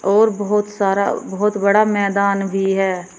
और बहोत सारा बहोत बड़ा मैदान भी है।